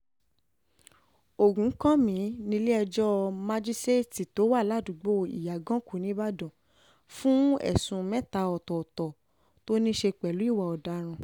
ògúnkànmí nílé-ẹjọ́ májíṣẹ́ẹ̀tì tó wà ládùúgbò ìyàgànkù níìbàdàn um fún ẹ̀sùn mẹ́ta ọ̀tọ̀ọ̀tọ̀ tó ní í um ṣe pẹ̀lú ìwà ọ̀daràn